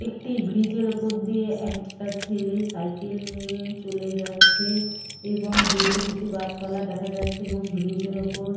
একটি ব্রিজ -এর ওপর দিয়ে একটা ছেলে সাইকেল নিয়ে চলে যাচ্ছে এবং দূরে কিছু গাছপালা দেখা যাচ্ছে এবং ব্রিজ -এর ওপর।